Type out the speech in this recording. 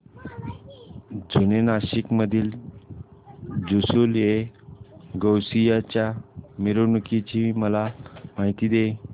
जुने नाशिक मधील जुलूसएगौसिया च्या मिरवणूकीची मला माहिती दे